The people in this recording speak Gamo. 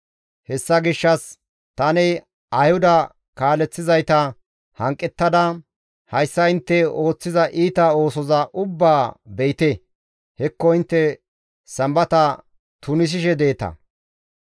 Hessa gishshas tani Ayhuda kaaleththizayta hanqettada «Hayssa intte ooththiza iita oosoza ubbaa be7ite! Hekko intte Sambata tunisishe deeta;